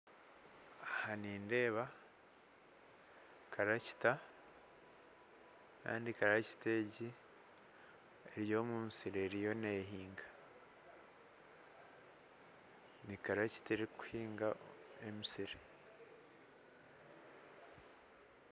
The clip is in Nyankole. Aha nindeeba karakita kandi karakita egi eri omu musiri eriyo neehinga nikarakita erikuhinga emisiri.